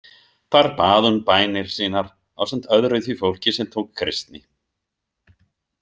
Þar bað hún bænir sínar ásamt öðru því fólki sem tók kristni.